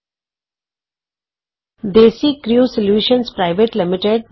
desi Crew Solutions private limited DesiCrew Solutions PVT